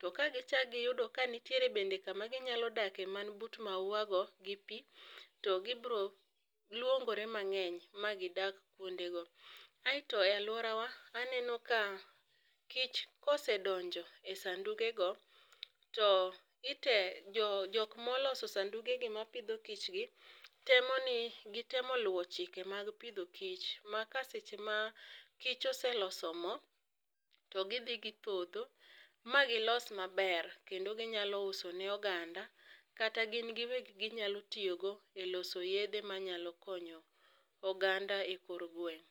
.To ka gi chak gi yudo ni bende nitiere ku ma gi nya dakie man but mauwa go gi pi to gi birio luongore mang'eny ma gi dag kuonde go aito e aluora wa aneno ka kich kosedonjo e sanduge go, to gi temo jok ma oloso sanduge gi ma pidho kich gi temo ni gi luwo chike mar pidho kich ma ka seche ma kich oseloso mo to gi dhi gi podho ma gi los ma ber kendo gi nyalo uso ne oganda kata gin gi wegi gi nyalo tiyo go e loso yedhe ma nyalo konyo oganda e dier gweng.